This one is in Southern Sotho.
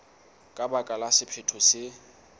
ka baka la sephetho se